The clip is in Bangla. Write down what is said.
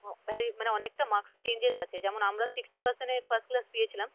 মানে অনেকটা marks changes আছে যেমন আমরা sixty percent এ first class পেয়েছিলাম